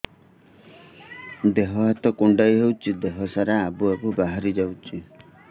ଦିହ ହାତ କୁଣ୍ଡେଇ ହଉଛି ଦିହ ସାରା ଆବୁ ଆବୁ ବାହାରି ଯାଉଛି